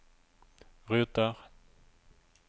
ruter